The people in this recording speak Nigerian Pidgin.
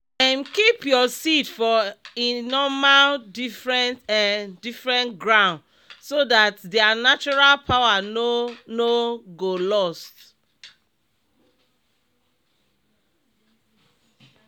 um keep your seed for e normal different um different group so that their natural power no no go lost.